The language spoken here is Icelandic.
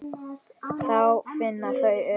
Þá finna þau öryggi.